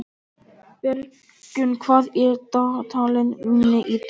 Bergrún, hvað er í dagatalinu mínu í dag?